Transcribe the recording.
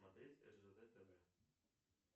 смотреть ржд тв